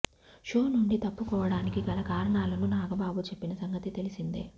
show నుండి తప్పుకోవడానికి గల కారణాలను నాగబాబు చెప్పిన సంగతి తెలిసిందే